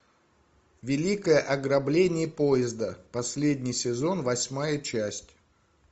великое ограбление поезда последний сезон восьмая часть